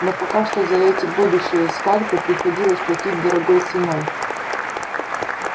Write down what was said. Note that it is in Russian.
но пока что за эти будущие скальпы приходилось платить дорогой ценой